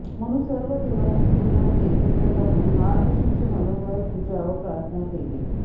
म्हणून सर्व देवांच्या स्त्रियांनी एकत्र जमून महालक्ष्मीची मनोभावे पूजा व प्रार्थना केली